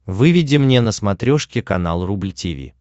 выведи мне на смотрешке канал рубль ти ви